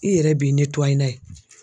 I yɛrɛ b'i n'a ye.